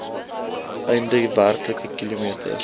einde werklike kilometers